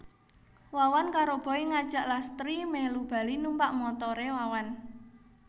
Wawan karo Boy ngajak Lastri mèlu bali numpak montoré Wawan